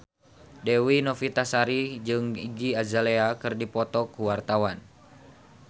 Dewi Novitasari jeung Iggy Azalea keur dipoto ku wartawan